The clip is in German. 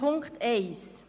Punkt 1